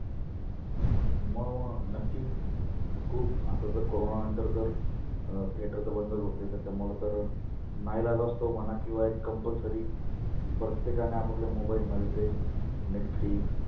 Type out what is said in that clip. मग मग नक्किच खुप आता तर corona नंतर तर अं theater तर बंद होते त्याच्यामुळं तर नायलाज असतो किंवा एक compulsory प्रत्येकाने आपाअपल्या mobile मध्ये ते netflix